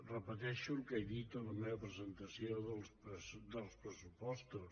repeteixo el que he dit en la meva presentació dels pressupostos